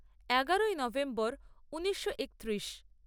এগারোই নভেম্বর ঊনিশো একত্রিশ